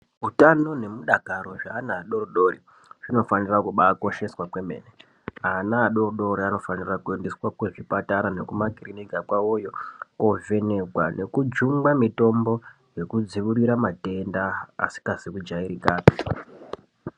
Utano nemudakaro zveana ado-dori zvinofanira kubakosheswa yaamho, ana adokodoko anofanira kuendeswa kuzvipatara nekumakiriniki kwavoyo koovhenekwa nekejungwa mitombo yekudziirire matenda asikazi kujairika pii.i